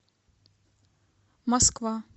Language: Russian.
москва